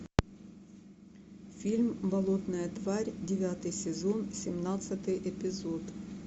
фильм болотная тварь девятый сезон семнадцатый эпизод